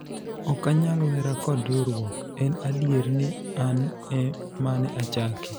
ok anyal wera kod riwruok , en adier ni an e mane achake